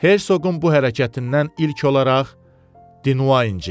Herşoqun bu hərəkətindən ilk olaraq Dinva incidi.